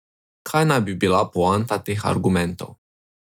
Kaj naj bi bila poanta teh argumentov?